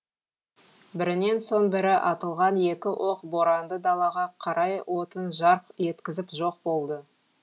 бірінен соң бірі атылған екі оқ боранды далаға қарай отын жарқ еткізіп жоқ болды